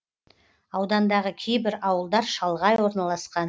аудандағы кейбір ауылдар шалғай орналасқан